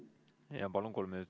Jaa, palun!